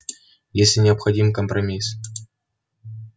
если необходим компромисс